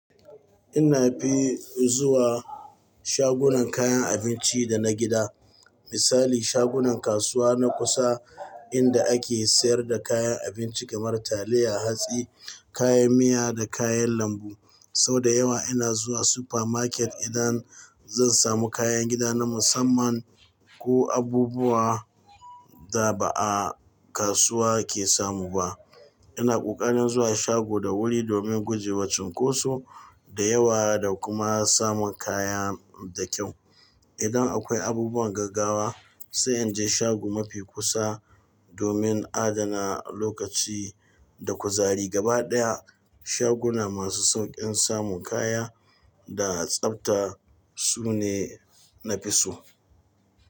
Ina fi zuwa shagunan kayan abinci da na gida. Misali, shagunan kasuwa na kusa inda ake sayar da kayan abinci kamar taliya, hatsi, kayan miya da kayan lambu. Sau da yawa ina zuwa super market, idan zan samu kayan gida na musamman, ko abubuwa, da ba a kasuwa ake samu ba. Ina ƙoƙarin zuwa shago da wuri domin guje wa cunkoso, da yawa da kuma samun kaya da kyau. Idan akwai abubuwan gaggawa, sai in je shago mafi kusa, domin adana lokaci da kuzari. Gabaɗaya, shagunan masu sauƙin samun kaya da tsabta, su ne na fi so.